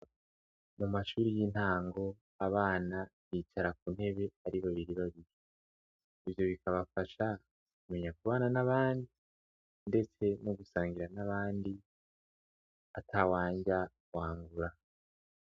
Mu mashuri y'intango, abana bicara ku ntebe ari babiri babiri. Ivyo bikabafasha kumenya kubana n'abandi ndetse no gusangira n'abandi ata wanrya wangura.